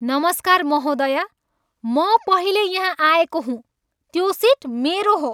नमस्कार महोदया, म पहिले यहाँ आएको हुँ। त्यो सिट मेरो हो।